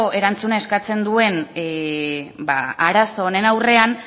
erantzuna eskatzen duen arazo honen aurrean